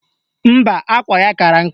Mba, akwa ya kara nka